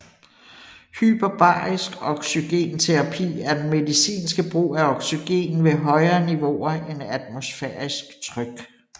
Hyperbarisk oxygenterapi er den medicinske brug af oxygen ved højere niveauer end atmosfærisk tryk